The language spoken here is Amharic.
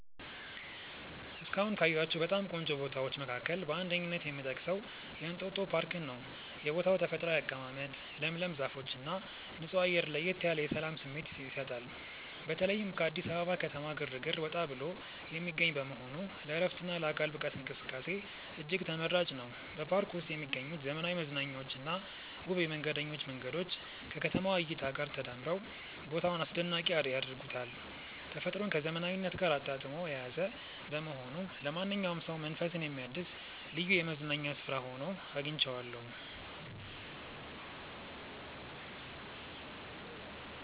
እስካሁን ካየኋቸው በጣም ቆንጆ ቦታዎች መካከል በአንደኝነት የምጠቀሰው የእንጦጦ ፓርክን ነው። የቦታው ተፈጥሯዊ አቀማመጥ፣ ለምለም ዛፎችና ንጹህ አየር ለየት ያለ የሰላም ስሜት ይሰጣል። በተለይም ከአዲስ አበባ ከተማ ግርግር ወጣ ብሎ የሚገኝ በመሆኑ ለዕረፍትና ለአካል ብቃት እንቅስቃሴ እጅግ ተመራጭ ነው። በፓርኩ ውስጥ የሚገኙት ዘመናዊ መዝናኛዎችና ውብ የመንገደኞች መንገዶች ከከተማዋ እይታ ጋር ተዳምረው ቦታውን አስደናቂ ያደርጉታል። ተፈጥሮን ከዘመናዊነት ጋር አጣጥሞ የያዘ በመሆኑ ለማንኛውም ሰው መንፈስን የሚያድስ ልዩ የመዝናኛ ስፍራ ሆኖ አግኝቼዋለሁ።